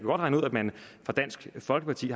regne ud at man fra dansk folkepartis